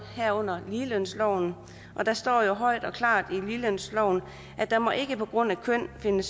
herunder ligelønsloven og der står højt og klart i ligelønsloven der må ikke på grund af køn finde